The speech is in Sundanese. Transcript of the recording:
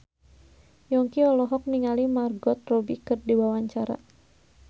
Yongki olohok ningali Margot Robbie keur diwawancara